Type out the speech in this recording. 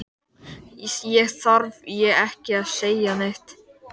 Þá þarf ég ekki að segja neitt!